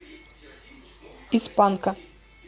из панка